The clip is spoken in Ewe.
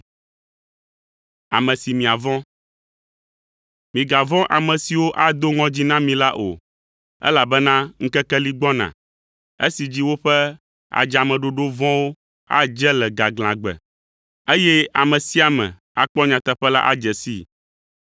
“Migavɔ̃ ame siwo ado ŋɔdzi na mi la o, elabena ŋkeke li gbɔna esi dzi woƒe adzameɖoɖo vɔ̃wo adze le gaglãgbe, eye ame sia ame akpɔ nyateƒe la adze sii.